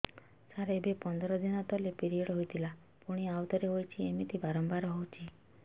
ସାର ଏବେ ପନ୍ଦର ଦିନ ତଳେ ପିରିଅଡ଼ ହୋଇଥିଲା ପୁଣି ଆଉଥରେ ହୋଇଛି ଏମିତି ବାରମ୍ବାର ହଉଛି